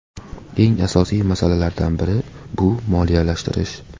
Eng asosiy masalalardan biri bu moliyalashtirish.